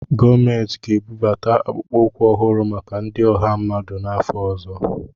Gọọmentị ga-ebubata akpụkpọ ụkwụ ọhụrụ maka ndi ọha mmadụ n'afọ ọzọ.